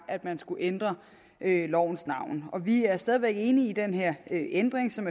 at man skulle ændre lovens navn vi er stadig væk enige i den her ændring som